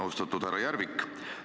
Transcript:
Austatud härra Järvik!